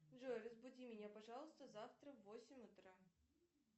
джой разбуди меня пожалуйста завтра в восемь утра